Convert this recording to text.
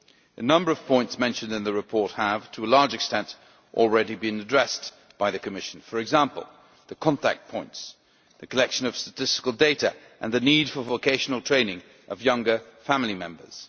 A number of points mentioned in the report have, to a large extent, already been addressed by the Commission, for example the contact points, the collection of statistical data and the need for vocational training for younger family members.